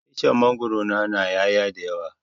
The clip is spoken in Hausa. Icen mangwaro na na ƴaya da yawa